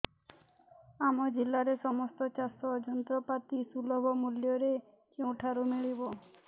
ଆମ ଜିଲ୍ଲାରେ ସମସ୍ତ ଚାଷ ଯନ୍ତ୍ରପାତି ସୁଲଭ ମୁଲ୍ଯରେ କେଉଁଠାରୁ ମିଳିବ